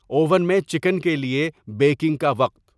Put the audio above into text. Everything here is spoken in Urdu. اوون میں چکن کے لیے بیکنگ کا وقت